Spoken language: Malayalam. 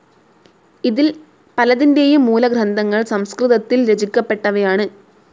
ഇതിൽ പലതിന്റേയും മൂലഗ്രന്ഥങ്ങൾ സംസ്കൃതത്തിൽ രചിക്കപ്പെട്ടവയാണ്.